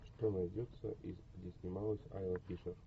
что найдется из где снималась айла фишер